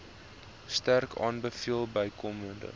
sterk aanbeveel bykomend